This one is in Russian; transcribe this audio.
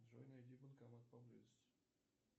джой найди банкомат поблизости